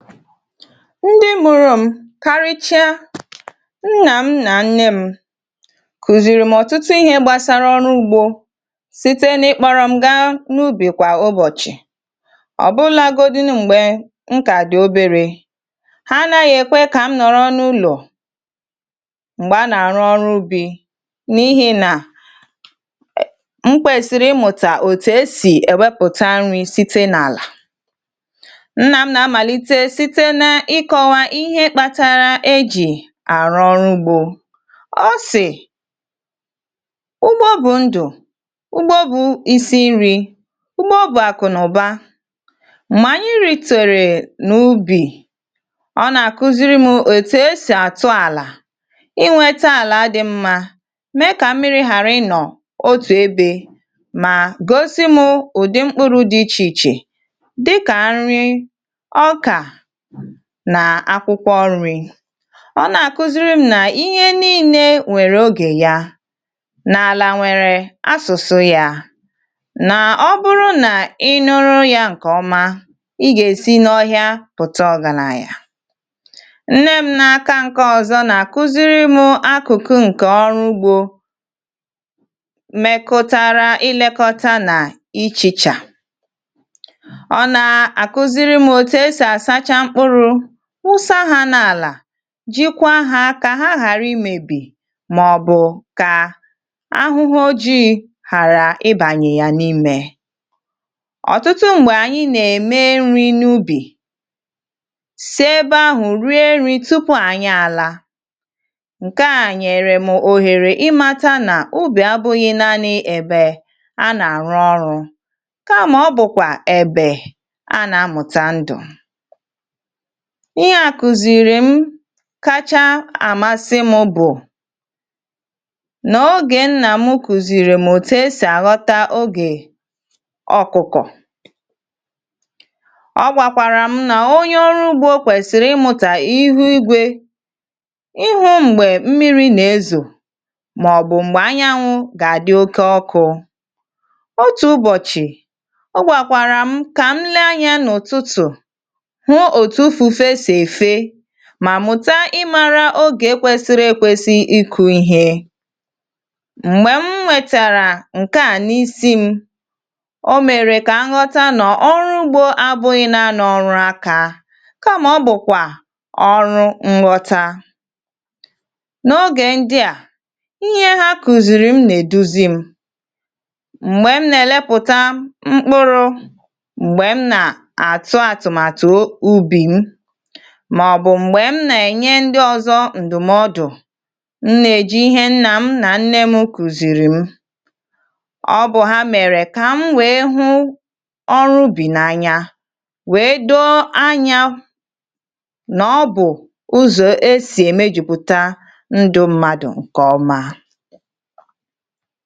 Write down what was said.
ndị mụrụ m karịchịa nnà m nà nne m kụ̀zìrì m ọ̀tụtụ ihe gbàsara ọrụ ugbȯ site n’ịkpọ̇rọ̀ m gaa n’ubì kwà ụbọ̀chị̀ ọ̀bụlagodi m̀gbè m kà dị̀ oberė ha anaghị̇ ekwe kà m nọ̀rọ n’ụlọ̀ m̀gbè a nà-àrụ ọrụ ubì n’ihi nà m kwèsịrị ịmụ̀tà òtù esì ewepụta nri̇ site n’àlà nnam na amalite site n’ịkọwa ihe kpatara e jì àrụ ọrụ ugbȯ ọsị̇ ugbo bụ̇ ndụ̀ ugbo bụ̇ isi̇ nri̇ ugbo bụ̇ àkụ̀ nụba mà anyị ritere nà ubì ọ nà-àkuziri mụ̇ ètù esì àtụ àlà ịnweta àlà dị mmȧ ị mee kà mmiri̇ hàrà ịnọ̀ otù ebė mà gosi mụ̇ ụ̀dị mkpụrụ̇ dị ichè ichè dịkà nri ọkà nà akwụkwọ nri ọ nà àkụziri m nà ihe nii̇ne nwèrè oge ya n’àlà nwèrè asụ̀sụ̇ ya nà ọ bụrụ nà ị nụrụ ya ǹkè ọma ị gà-èsi n’ọhịa pụ̀ta ọ̀gàlàya nne m n’aka ǹke ọ̀zọ nà àkụziri m akụ̀kụ ǹkè ọrụ ugbȯ mekotara ịlekọta nà ịchèchà ọ nà àkụziri m òtù esì asacha mkpụrụ wụsa ha n’ala jikwa hȧ kȧ ha ghàra ịmėbì màọ̀bụ̀ kà ahụ̀hụ̀ oji̇ hàrà ịbanye yà n’imė ọ̀tụtụ m̀gbè ànyị nà-ème nri n’ubì sì ebe ahụ̀ rie nri̇ tupu ànyị àla ǹkè a nyèrèm ohèrè ịmata nà ubì abụ̇ghị̇ naanị ebe a nà-àrụ ọrụ̇ kamà ọ bụ̀kwà ebè a nà-amụ̀tà ndụ̀ ihe à kụ̀zìrì m kacha àmasị m bụ̀ nà ogè nnà m kụ̀zìrì m òtù esì àghọta ogè ọkụ̀kọ̀ ọ gwàkwàrà m nà onye ọrụ ugbȯ kwèsịrị ịmụ̀tà ihu igwė ihu m̀gbè mmiri nà-ezò mà ọ̀gbụ̀ m̀gbè anyanwụ̇ gà-àdị okė ọkụ̇ otù ụbọ̀chị̀ ọgwàkwàrà m kà m lee anyȧ n’ụ̀tụtụ̀ mà mụta ị̇ mara ogè kwèsịrị ekwesị ịkụ̇ ihė m̀gbè m wètàrà ǹke à n’isi ṁ o mèrè kà aṅụta nà ọrụ ugbȯ abụghị nàanị ọrụ akȧ ka ọ bụ̀kwà ọrụ ṅụta n’ogè ndị à ihe ha kụ̀zìrì m nà-èduzị ṁ m̀gbè m nà-èlèpụ̀ta mkpụrụ̇ mà ọ̀ bụ̀ m̀gbè m nà-ènye ndị ọ̇zọ̇ ǹdụ̀mọdụ̀ m nà-èji ihe nnà m nà nne m kụzìrì m ọ bụ̀ ha mèrè kà m nwèe hụ ọrụ ubì n’anya wèe doo anyȧ nà ọ bụ̀ ụzọ̀ e sì ème jupụ̀ta ndụ ṁmȧdụ̀ ǹkè ọma